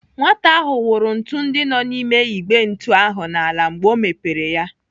Nwata ahụ wụrụ ntụ ndị nọ n'ime Igbe ntu ahụ n'ala mgbe ọ mepere ya.